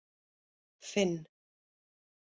Finn